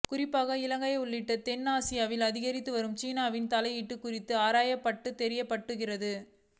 குறிப்பாக இலங்கை உள்ளிட்ட தெற்காசியாவில் அதிகரித்து வரும் சீனாவின் தலையீடுகள் குறித்து ஆராயப்பட்டதாக தெரிவிக்கப்படுகிறது